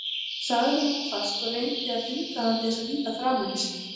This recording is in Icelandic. sagði hún hvasst og reyndi að þvinga hann til að líta framan í sig.